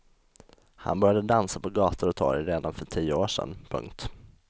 Han började dansa på gator och torg redan för tio år sedan. punkt